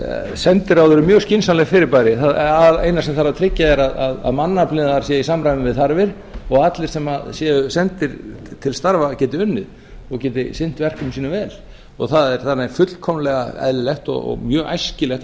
sendiráð eru mjög skynsamleg fyrirbæri það eina sem þarf að tryggja er að mannaflinn þar sé í samræmi við þarfir og allir sem séu sendir til starfa geti unnið og geti sinnt verkefnum sínum vel það er þannig fullkomlega eðlilegt og mjög æskilegt að